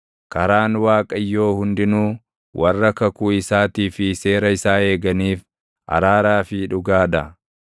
Karaan Waaqayyoo hundinuu warra kakuu isaatii fi seera isaa eeganiif araaraa fi dhugaa dha.